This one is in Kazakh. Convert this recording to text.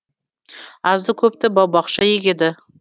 азды көпті бау бақша егеді